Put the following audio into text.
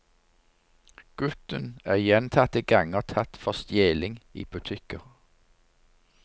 Gutten er gjentatte ganger tatt for stjeling i butikker.